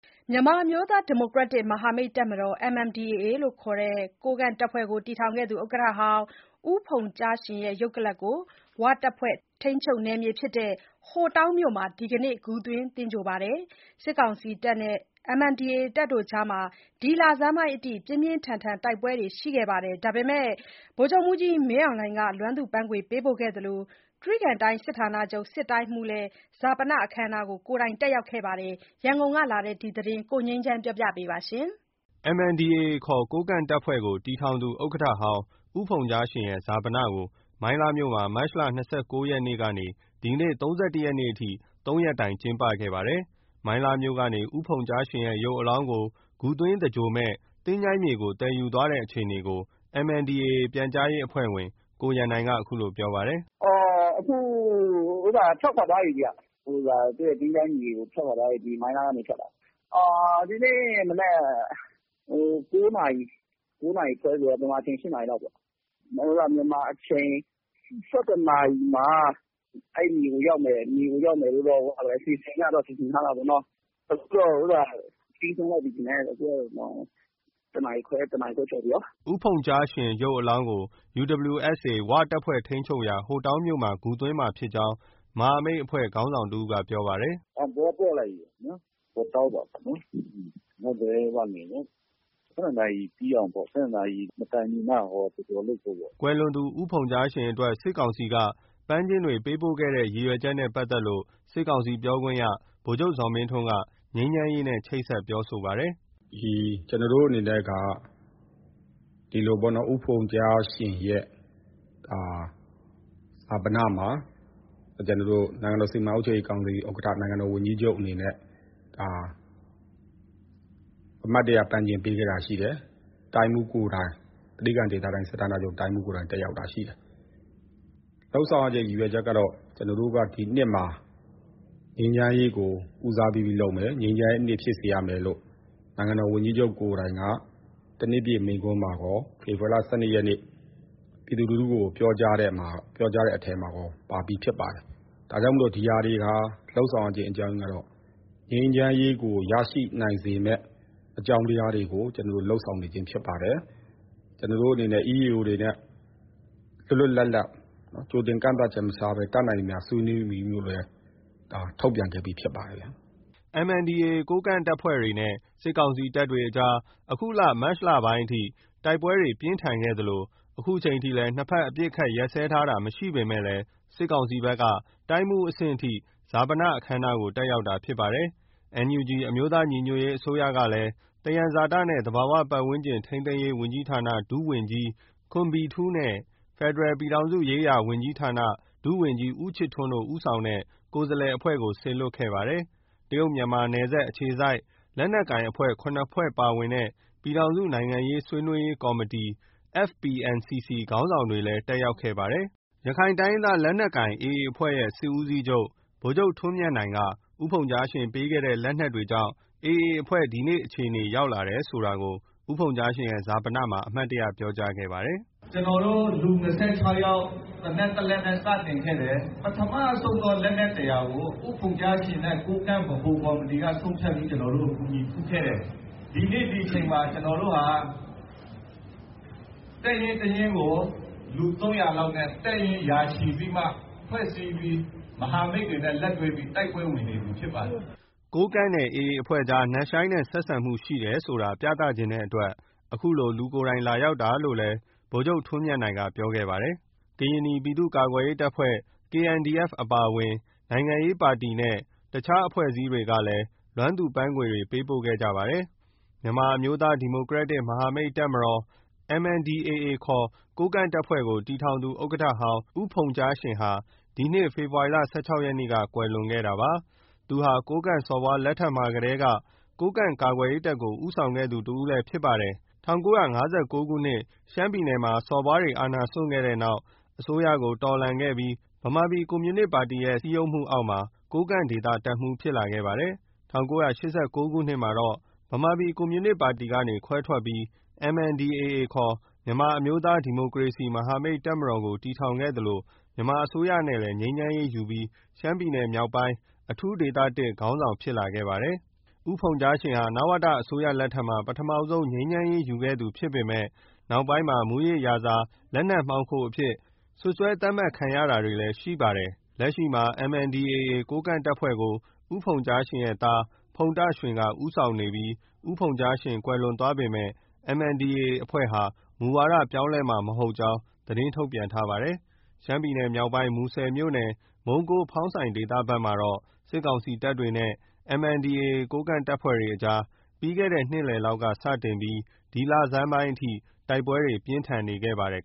မြန်မာအမျိုးသား ဒီမိုကရက်တစ် မဟာမိတ်တပ်မတော် MNDAA ခေါ် ကိုးကန့်တပ်ဖွဲ့ကိုတည်ထောင် သူ ဥက္ကဋ္ဌဟောင်း ဦးဖုန်ကျားရှင်ရဲ့ ရုပ်ကလာပ်ကို ဝတပ်ဖွဲ့ ထိန်းချုပ်နယ်မြေဖြစ်တဲ့ ဟိုတောင်းမြို့မှာ ဒီနေ့ ဂူသွင်း သဂြိုဟ်ပါတယ်။ စစ်ကောင်စီတပ် နဲ့ MNDAA ကြားမှာ ဒီလဆန်းပိုင်းအထိ ပြင်းပြင်းထန်ထန် တိုက်ပွဲတွေရှိခဲ့ပေမယ့် ဗိုလ်ချုပ်မှူးကြီးမင်းအောင်လှိုင်က လွမ်းသူ့ပန်းခွေ ပေးပို့ခဲ့သလို တြိဂံတိုင်းစစ်ဌာနချုပ် စစ်တိုင်းမှူးကလည်း ဈာပနအခမ်းအနားကို ကိုယ်တိုင် တက်ရောက်ခဲ့ပါတယ်။ ရန်ကုန် ကလာတဲ့ ဒီသတင်းကို ကိုငြိမ်းချမ်းက တင်ပြပေးထားပါတယ်။ MNDAA ခေါ် ကိုးကန့်တပ်ဖွဲ့ကို တည်ထောင်သူ ဥက္ကဋ္ဌဟောင်း ဦးဖုန်းကြားရှင်ရဲ့ ဈာပနကို မိုင်းလားမြို့မှာ မတ်လ ၂၉ ရက်နေ့ကနေ ဒီနေ့ ၃၁ ရက်နေ့အထိ သုံးရက်တိုင်ကျင်းပခဲ့ပါတယ်။ မိုင်းလားမြို့ ကနေ ဦးဖုန်ကျားရှင်ရဲ့ ရုပ်အလောင်းကို ဂူသွင်းသင်္ဂြိုဟ်မယ့် သင်္ချိုင်းမြေဆီ သယ်ယူသွားတဲ့အခြေအနေကို MNDAA ပြန်ကြားရေးအဖွဲ့ဝင် ကိုရန်နိုင်က ခုလိုပြောပါတယ်။ “အခု ထွက်ခွာသွားပြီဗျ။ သူ့ရဲ့ သင်္ချိုင်းမြေကို ထွက်ခွာသွားပြီ။ မိုင်းလားကနေထွက်တာ။ ဒီနေ့မနက် ၉ နာရီ၊ ၉ နာရီခွဲဆိုတော့ မြန်မာအချိန် ၈ နာရီလောက်ပေါ့။ မြန်မာအချိန် ၁၁ နာရီမှာ အဲဒီမြေကို ရောက်မယ်လို့တော့ စီစဉ်ထားတာပေါ့နော။ အခုတော့ ပြီးဆုံးလောက်ပြီထင်တယ်။ ၁ နာရီခွဲ၊ ၁ နာရီခွဲကျော်ပြီကော။” ဦးဖုန်ကျားရှင်ရဲ့ ရုပ်အလောင်းကို UWSA ဝတပ်ဖွဲ့ထိန်းချုပ်ရာ ဟိုတောင်းမြို့မှာ ဂူသွင်းမှာဖြစ်ကြောင်း မဟာမိတ်အဖွဲ့က ခေါင်းဆောင်တဦးက ပြောပါတယ်။ “တောင်ပေါ် ပို့လိုက်ပြီ။ ဟိုတောင်းပေါ့။ ဝ နယ်လေ။ ၁၂ နာရီ ပြီးအောင်ပေါ့။ ၁၂ နာရီမတိုင်မီက သင်္ဂြိုဟ်ဖု့ိပေါ့။” ကွယ်လွန်သူ ဦးဖုန်ကျားရှင်အတွက် စစ်ကောင်စီက ပန်းခြင်းတွေပေးပို့ခဲ့တဲ့ ရည်ရွယ်ချက်နဲ့ပတ်သက်လို့ စစ်ကောင်စီ ပြောခွင့်ရ ဗိုလ်ချုပ်ဇော်မင်းထွန်းက ငြိမ်းချမ်းရေးနဲ့ ချိတ်ဆက်ပြောဆိုပါတယ်။ “ကျနော်တို့အနေနဲ့က ဒီလိုပေါ့နော်၊ ဦးဖုန်ကျားရှင်ရဲ့ဈာပနမှာ နိုင်ငံတော် စီမံအုပ်ချုပ်ရေးကော်မတီဥက္ကဋ္ဌ၊ နိုင်ငံတော်ဝန်ကြီးချုပ်အနေနဲ့ အမှတ်တရ ပန်းခြင်း ပေးခဲ့တာရှိတယ်။ တြိဂံဒေသတိုင်း၊ စစ်ဌာနချုပ် တိုင်းမှူးကိုယ်တိုင် တက်ရောက်တာရှိတယ်။ လုပ်ဆောင်ရတဲ့ရည်ရွယ်ချက်ကတော့ ကျနော်တို့က... ဒီနှစ်မှာ ငြိမ်းချမ်းရေးကို ဦးစားပေးပြီးလုပ်နေတယ်။ ငြိမ်းချမ်းရေးနှစ် ဖြစ်စေရမယ်လို့ နိုင်ငံတော်ဝန်ကြီးချုပ်ကိုယ်တိုင်က တနှစ်ပြည့်မိန့်ခွန်းမှာကော၊ ဖေဖေါ်ဝါရီလ ၁၂ ရက်နေ့ ပြည်သူလူထုကို ပြောကြားတဲ့အထဲမှာရော ပါပြီး ဖြစ်ပါတယ်။ ဒါကြောင့်မို့လို့ ဒီဟာတွေ လုပ်ဆောင်ရခြင်း အကြောင်းကတော့ ငြိမ်းချမ်းရေးကို ရရှိနိုင်စေမယ့် အကြောင်းတရားတွေကို ကျနော်တို့ လုပ်ဆောင်နေခြင်းဖြစ်ပါတယ်။ ကျနော်တို့အနေနဲ့ EEO တွေနဲ့ လွတ်လွတ်လပ်လပ် ကြိုတင်ကန့်သတ်ချက်မထားဘဲ တတ်နိုင်သမျှ ဆွေးနွေးလိုတယ်လို့လည်း ထုတ်ပြန်ခဲ့ပြီး ဖြစ်ပါတယ်ဗျ။” MNDAA ကိုးကန့်အဖွဲ့တွေနဲ့ စစ်ကောင်စီတပ်တွေကြား အခုမတ်လ လဆန်းပိုင်းအထိ တိုက်ပွဲတွေပြင်းထန်ခဲ့သလို အခုချိန်ထိလည်း နှစ်ဘက် အပစ်အခတ်ရပ်စဲထားခြင်းမရှိပေမဲ့ စစ်ကောင်စီဘက်က တိုင်းမှူးအဆင့်အထိ ဈာပနအခမ်းအနားကို တက်ရောက်တာဖြစ်ပါတယ်။ NUG အမျိုးသားညီညွတ်ရေးအစိုးရကလည်း သယံဇာတနဲ့ သဘာဝပတ်ဝန်းကျင်ထိန်းသိမ်းရေးဝန်ကြီးဌာန ဒုတိယဝန်ကြီး ခွန်းဘီထူး၊ ဖက်ဒရယ် ပြည်ထောင်စုရေးရာဝန်ကြီးဌာန ဒုတိယဝန်ကြီး ဦးချစ်ထွန်းတို့ ဦးဆောင်တဲ့ ကိုယ်စားလှယ်အဖွဲ့ကို စေလွှတ်ခဲ့ပါတယ်။ တရုတ်မြန်မာနယ်စပ်အခြေစိုက် လက်နက်ကိုင်အဖွဲ့ ၇ ဖွဲ့ပါဝင်တဲ့ ပြည်ထောင်စု နိုင်ငံရေးဆွေးနွေးရေး ကော်မတီ FPNCC ခေါင်းဆောင်တွေလည်း တက်ရောက်ပါတယ်။ ရခိုင်တိုင်းရင်းသားလက်နက်ကိုင် AA အဖွဲ့ရဲ့ စစ်ဦးစီးချုပ် ဗိုလ်ချုပ်ထွန်းမြတ်နိုင်က ဦးဖုန်းကြားရှင်ပေးခဲ့တဲ့ လက်နက်တွေကြောင့် AA အဖွဲ့ ဒီနေ့အခြေအနေ ရောက်လာတယ်ဆိုတာကို ဦးဖုန်းကြားရှင်ရဲ့ ဈာပနအခမ်းအနားမှာ အမှတ်တရပြောကြားခဲ့ပါတယ်။ “ကျနော်တို့ လူ ၂၆ ယောက်၊ သေနတ် ၁ လက်နဲ့စတင်ခဲ့တယ်။ ပထမဆုံးသော လက်နက် ၁၀၀ ကို ဦးဖုန်ကျားရှင်နဲ့ ကိုးကန့်ဗဟိုကော်မတီက ဆုံးဖြတ်ပြီး ကျနော်တို့ကို ကူညီဖူးခဲ့တယ်။ ဒီနေ့ ဒီအချိန်မှာ ကျနော်တို့ဟာ တပ်ရင်းတရင်းကို လူ ၃၀၀ လောက်နဲ့ တပ်ရင်း ရာချီပြီးမှ ဖွဲ့စည်းပြီး မဟာမိတ်တွေနဲ့လက်တွဲပြီး တိုက်ပွဲဝင်နေပြီဖြစ်ပါတယ်။ ကိုးကန့်နဲ့ AA အဖွဲ့ကြား နက်ရှိုင်းတဲ့ဆက်ဆံမှုရှိတယ်ဆိုတာ ပြသချင်တဲ့အတွက် ခုလို လူကိုယ်တိုင် လာရောက်တာလို့လည်း ဗိုလ်ချုပ်ထွန်းမြတ်နိုင်က ပြောခဲ့ပါတယ်။ ကရင်နီ ပြည်သူ့ကာကွယ်ရေးတပ်ဖွဲ့ KNDF အပါအဝင် နိုင်ငံရေးပါတီနဲ့ တခြား အဖွဲ့အစည်းတွေကလည်း လွမ်းသူ့ပန်းခွေတွေ ပေးပို့ခဲ့ကြပါတယ်။ မြန်မာအမျိုးသား ဒီမိုကရက်တစ် မဟာမိတ်တပ်မတော် MNDAA ခေါ် ကိုးကန့်တပ်ဖွဲ့ကို တည်ထောင် သူ ဥက္ကဋ္ဌဟောင်း ဦးဖုန်ကျားရှင်ဟာ ဒီနှစ် ဖေဖော်ဝါရီလ ၁၆ ရက်နေ့က ကွယ်လွန်ခဲ့တာပါ။ သူဟာ ကိုးကန့်စော်ဘွားလက်ထက်မှာကတည်းက ကိုးကန့်ကာကွယ်ရေးတပ်ကို ဦးဆောင်ခဲ့သူတဦးဖြစ်ပါတယ်။ ၁၉၅၉ ခုနှစ်မှာ စော်ဘွား အာဏာစွန့်ခဲ့တဲ့နောက် အစိုးရကိုတော်လှန်ခဲ့ပြီး ၁၉၆၇- ၆၈ လောက်မှာ ဗမာပြည်ကွန်မြူနစ်ပါတီရဲ့ စည်းရုံးမှုအောက်မှာ ကိုးကန့်ဒေသတပ်မှူး ဖြစ်လာခဲ့ပါတယ်။ ၁၉၈၉ ခုနှစ် မှာတော့ ဗမာပြည်ကွန်မြူနစ်ပါတီကနေ ခွဲထွက်ပြီး MNDAA ခေါ် မြန်မာအမျိုးသား ဒီမိုကရေစီမဟာမိတ် တပ်မတော်ကို တည်ထောင်ခဲ့သလို မြန်မာစစ်အစိုးရနဲ့လည်း ငြိမ်းချမ်းရေး ရယူပြီး ရှမ်းပြည်မြောက် ပိုင်း အထူးဒေသ ခေါင်းဆောင် ဖြစ်လာခဲ့ပါတယ်။ ဦးဖုန်ကျားရှင်ဟာ နဝတစစ်အစိုးရလက်ထက်မှာ ပထမဆုံး ငြိမ်းချမ်းရေးရယူခဲ့သူဖြစ်ပေမယ့် နောက်ပိုင်း မူးယစ်ရာဇာ၊ လက်နက်မှောင်ခိုအဖြစ် စွပ်စွဲသတ်မှတ်ခံရတာတွေလည်း ရှိခဲ့ပါတယ်။ လက်ရှိမှာ MNDAA ကိုးကန့်တပ်ဖွဲ့ကို ဦးဖုန်ကျားရှင်ရဲ့သား ဖုန်တာရွှင်က ဦးဆောင်နေပြီး ဦးဖုန်ကျားရှင် ကွယ်လွန်သွားပေမယ့် MNDAA အဖွဲ့ဟာ မူဝါဒပြောင်းလဲမှာမဟုတ်ကြောင်း သတင်းထုတ်ပြန်ထားပါတယ်။ ရှမ်းပြည်နယ်မြောက်ပိုင်း မူဆယ်မြို့နယ် မုံးကိုး၊ ဖောင်းဆိုင် ဒေသဘက်မှာတော့ စစ်ကောင် စီတပ်နဲ့ MNDAA ကိုးကန့်တပ်အကြား ပြီးခဲ့တဲ့နှစ်လည်လောက်ကစတင်ပြီး ဒီလဆန်းပိုင်းအထိ တိုက် ပွဲတွေ ပြင်းထန်ခဲ့ပါတယ်